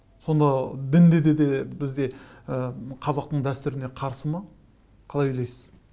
сонда дінде де бізде ы қазақтың дәстүріне қарсы ма қалай ойлайсыз